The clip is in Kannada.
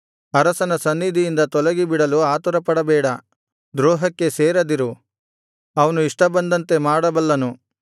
ಅರಸನ ಸನ್ನಿಧಿಯಿಂದ ತೊಲಗಿಬಿಡಲು ಆತುರಪಡಬೇಡ ದ್ರೋಹಕ್ಕೆ ಸೇರದಿರು ಅವನು ಇಷ್ಟಬಂದಂತೆ ಮಾಡಬಲ್ಲನು